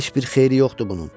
Heç bir xeyri yoxdur bunun.